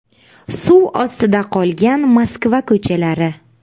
Suv ostida qolgan Moskva ko‘chalari .